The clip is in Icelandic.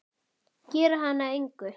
Gera hana að engu.